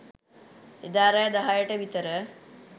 එදා රෑ දහයට විතර